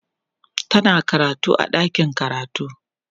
tana karatu a ɗakin karatu